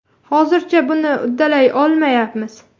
Hozircha buni uddalay olmayapmiz.